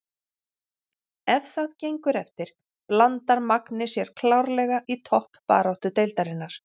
Ef það gengur eftir blandar Magni sér klárlega í toppbaráttu deildarinnar!